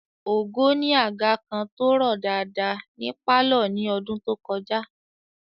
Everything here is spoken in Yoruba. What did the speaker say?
Ògo ni àga kan tó rọ̀ dáadáa ní pálọ̀ ní ọdún tó kọjá